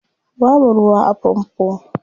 Babu ruwa a famfo.